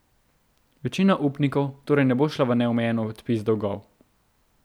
Večina upnikov torej ne bo šla v neomejen odpis dolgov.